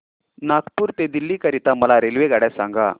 नागपुर ते दिल्ली करीता मला रेल्वेगाड्या सांगा